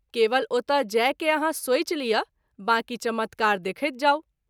केवल ओतय जाय के आहाँ सोचि लिअ बाँकी चमत्कार देखैत जाऊ।